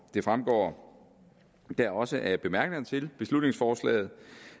det fremgår da også af bemærkningerne til beslutningsforslaget